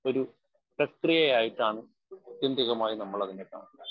Speaker 1 ഒരു പ്രക്രിയയായിട്ടാണ് ആത്യന്തികമായി നമ്മളതിനെ കാണുന്നത്.